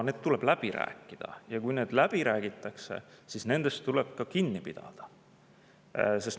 Need tuleb läbi rääkida, ja kui need läbi räägitakse, siis tuleb kinni pidada.